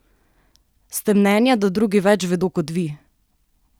Ste mnenja, da drugi več vedo kot vi?